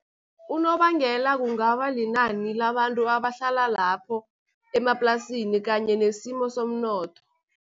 Unobangela kungaba linani labantu abahlala lapho emaplasini kanye nesimo somnotho.